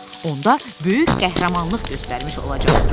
Onda böyük qəhrəmanlıq göstərmiş olacaqsan.